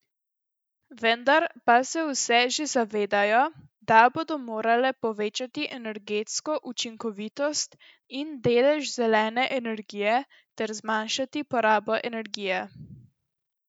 Vendar pa se vse že zavedajo, da bodo morale povečati energetsko učinkovitost in delež zelene energije ter zmanjšati porabo energije.